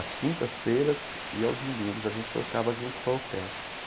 Às quintas-feiras e aos domingos a gente tocava junto com a orquestra.